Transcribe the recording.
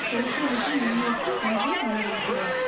சோசியலிச முன்னோக்கு ஒன்றை முன்வைக்கிறார்